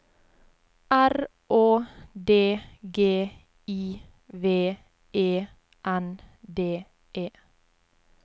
R Å D G I V E N D E